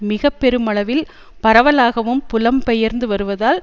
மிக பெருமளவில் பரவலாகவும் புலம்பெயர்ந்து வருவதால்